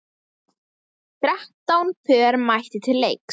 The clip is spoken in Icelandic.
Þrettán pör mættu til leiks.